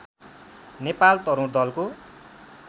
नेपाल तरुण दलको